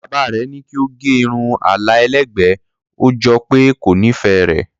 Bàbá rẹ̀ ní kí ó gẹ irun àlà ẹlẹ́gbẹ̀ẹ́, ó jọ pé kò nífẹ̀ẹ́ rẹ̀.